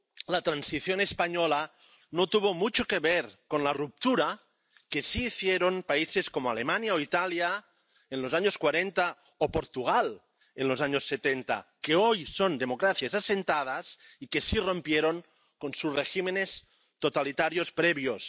La transición española no tuvo mucho que ver con la ruptura que sí hicieron países como Alemania o Italia en los años 40 o Portugal en los años 70, que hoy son democracias asentadas y que sí rompieron con sus regímenes totalitarios previos.